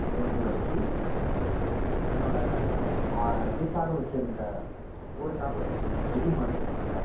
கொண்டு வந்து வச்சு தன்னோட ஆஹ் இதுக்காக வச்சிருந்த, போருக்காக வச்சிருந்த வெடி மருந்து இருக்கும்ல